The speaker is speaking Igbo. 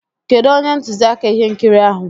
Kedụ onye ntụziaka ihe nkiri ahụ?